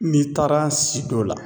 N'i taara si do la